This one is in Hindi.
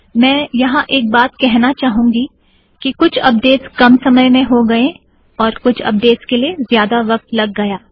मैं यहाँ एक बात कहेना चाहूँगी कि कुछ अपडेटस कम समय मैं हो गएँ और कुछ अपडेटस के लिए ज्यादा वक़्त लग गया